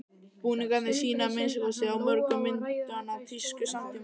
Búningarnir sýna, að minnsta kosti á mörgum myndanna, tísku samtímans.